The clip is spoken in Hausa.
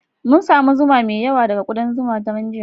Mun samu zuma mai yawa daga kudan zuma a daren jiya